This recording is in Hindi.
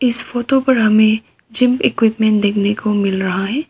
इस फोटो पर हमें जिम इक्विपमेंट देखने को मिल रहा है।